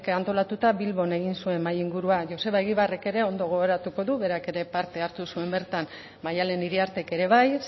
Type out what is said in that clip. antolatuta bilbon egin zuen mahai ingurua joseba egibarrek ere ondo gogoratuko du berak ere parte hartu baitzuen bertan maialen iriartek ere bai